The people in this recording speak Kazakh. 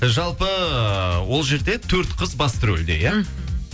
і жалпы ол жерде төрт қыз басты рөлде иә мхм